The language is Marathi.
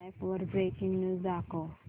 अॅप वर ब्रेकिंग न्यूज दाखव